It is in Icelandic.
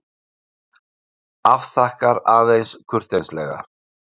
Afþakkar aðeins kurteislega.